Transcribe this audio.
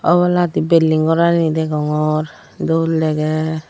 oboladi belding gorani degongor dol dege.